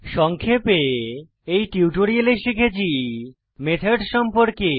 সংক্ষেপে এই টিউটোরিয়ালে শিখেছি মেথড সম্পর্কে